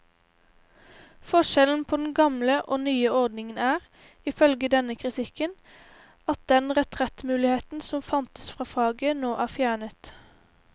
Forskjellen på den gamle og nye ordningen er, ifølge denne kritikken, at den retrettmuligheten som fantes fra faget, nå er fjernet.